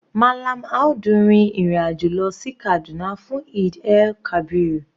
Mallam Audu rin ìrìn àjò lọ sí Kaduna fún Eid-el-kabir.